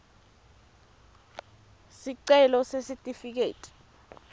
sicelo sesitifiketi